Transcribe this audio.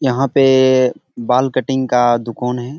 यहाँ पे बाल कटिंग का दुकान है।